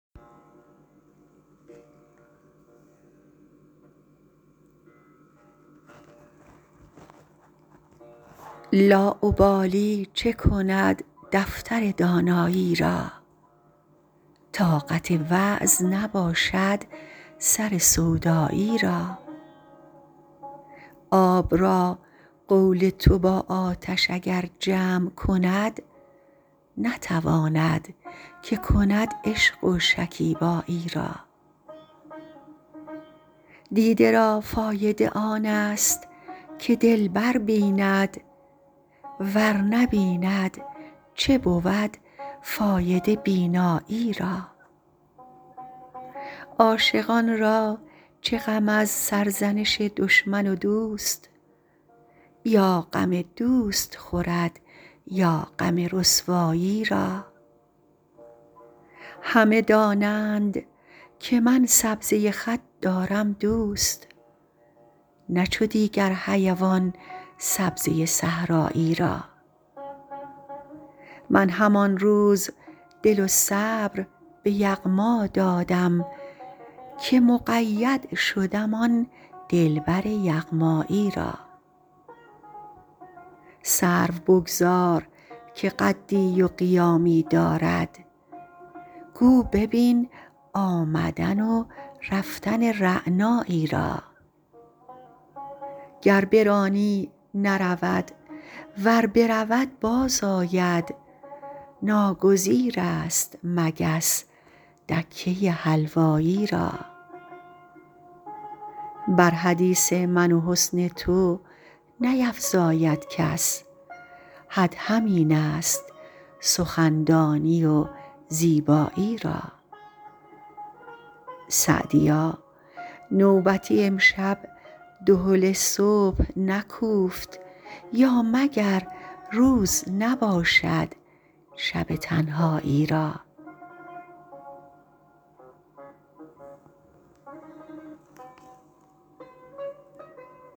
لاابالی چه کند دفتر دانایی را طاقت وعظ نباشد سر سودایی را آب را قول تو با آتش اگر جمع کند نتواند که کند عشق و شکیبایی را دیده را فایده آن است که دلبر بیند ور نبیند چه بود فایده بینایی را عاشقان را چه غم از سرزنش دشمن و دوست یا غم دوست خورد یا غم رسوایی را همه دانند که من سبزه خط دارم دوست نه چو دیگر حیوان سبزه صحرایی را من همان روز دل و صبر به یغما دادم که مقید شدم آن دلبر یغمایی را سرو بگذار که قدی و قیامی دارد گو ببین آمدن و رفتن رعنایی را گر برانی نرود ور برود باز آید ناگزیر است مگس دکه حلوایی را بر حدیث من و حسن تو نیفزاید کس حد همین است سخندانی و زیبایی را سعدیا نوبتی امشب دهل صبح نکوفت یا مگر روز نباشد شب تنهایی را